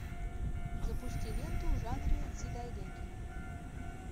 запусти ленту в жанре дзидайгэки